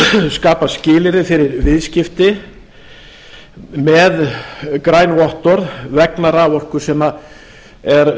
skapa skilyrði fyrir viðskipti með græn vottorð vegna raforku sem framleidd er